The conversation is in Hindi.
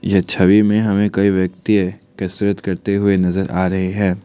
यह छवि में हमें कई व्यक्ति कसरत करते हुए नजर आ रहे हैं।